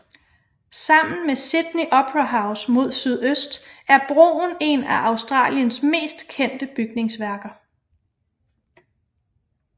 Sammen med Sydney Opera House mod sydøst er broen en af Australiens mest kendte bygningsværker